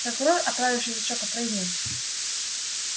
прокурор оправившись от шока произнёс